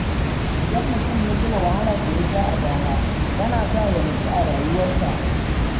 Idan mutum ya tuna wahalar da yasha a baya tana sa ya nutsu a rayuwarsa.